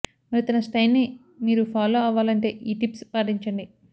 మరి తన స్టైల్ని మీరూ ఫాలో అవ్వాలంటే ఈ టిప్స్ పాటించండి